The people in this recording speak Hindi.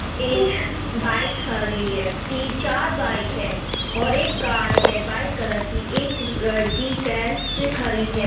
एक बाइक खड़ी है। ती चार बाइक है और एक कार है व्हाइट कलर की। एक ललकि पैर से खड़ी है।